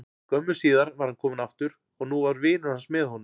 Skömmu síðar var hann kominn aftur og nú var vinur hans með honum.